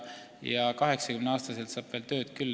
Ja 80-aastaselt saab veel tööd küll.